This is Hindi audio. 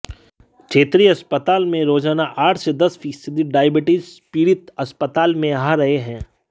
क्षेत्रीय अस्पताल में रोजाना आठ से दस फीसदी डायबिटीज पीडि़त अस्पताल में आ रहे हैं